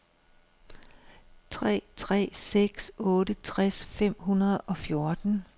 tre tre seks otte tres fem hundrede og fjorten